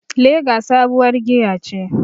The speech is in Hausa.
Lager sabuwar giya ce.